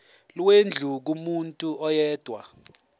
lwendlu kumuntu oyedwa